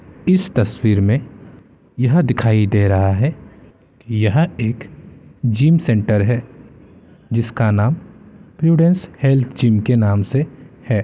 इस तस्वीर मे यह दिखाई दे रहा है यह एक जिम सेंटर है जिसका नाम प्रूडेंस हेल्थ जिम के नाम से है।